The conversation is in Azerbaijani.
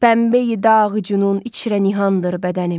Pəmbəyi dağ cünun içrə nihandır bədənim.